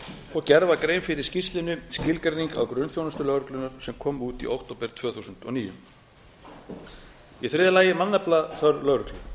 og gerð var grein fyrir í skýrslunni skilgreining á grunnþjónustu lögreglunnar sem kom út í október tvö þúsund og níu þriðja mannaflaþörf lögreglu